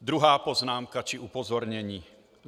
Druhá poznámka či upozornění.